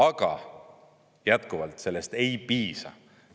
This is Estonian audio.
Aga jätkuvalt, sellest ei piisa.